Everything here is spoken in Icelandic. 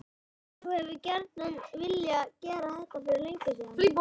Heimir: Þú hefur gjarnan viljað gera þetta fyrir löngu síðan?